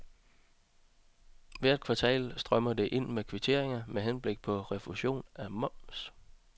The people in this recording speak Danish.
Hvert kvartal strømmer det ind med kvitteringer med henblik på refusion af moms.